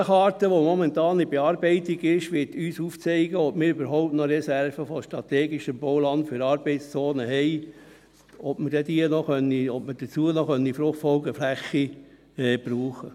Die Bodenkarte, die momentan in Bearbeitung ist, wird uns aufzeigen, ob wir überhaupt noch Reserven an strategischem Bauland für Arbeitszonen haben und ob wir dazu noch FFF brauchen können.